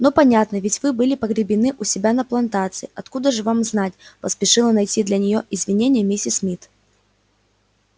ну понятно ведь вы были погребены у себя на плантации откуда же вам знать поспешила найти для неё извинение миссис мид